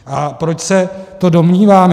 A proč se to domnívám?